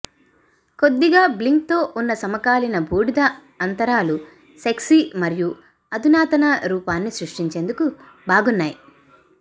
కొద్దిగా బ్లింగ్తో ఉన్న సమకాలీన బూడిద అంతరాలు సెక్సీ మరియు అధునాతన రూపాన్ని సృష్టించేందుకు బాగున్నాయి